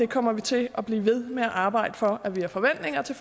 kommer til at blive ved med at arbejde for at vi har forventninger til